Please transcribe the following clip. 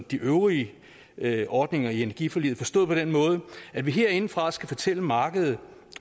de øvrige øvrige ordninger i energiforliget forstået på den måde at vi herindefra skal fortælle markedet